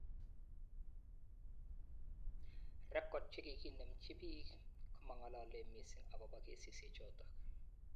Rekod chekikinemji bik komang'alale mising akobo kesisiechotok